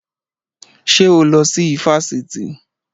Ṣé o lọ sí ifásitì?